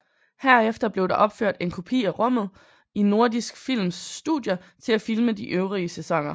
Herefter blev der opført en kopi af rummet i Nordisk Films studier til at filme de øvrige sæsoner